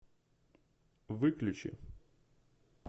выключи